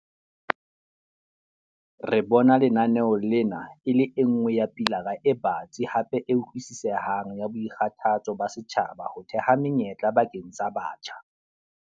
Re bona lenaneo lena e le e nngwe ya pilara e batsi hape e utlwisisehang ya boikgathatso ba setjhaba ho theha menyetla bakeng sa batjha.